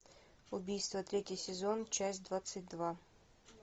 убийство третий сезон часть двадцать два